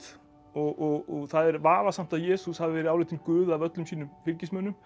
og það er vafasamt að Jesús hafi verið álitinn guð af öllum sínum fylgismönnum